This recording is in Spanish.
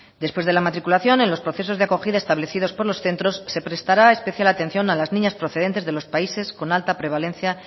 después de la matriculación en los procesos de acogida establecida por los centros se prestará especial atención a las niñas procedentes de los países con alta prevalencia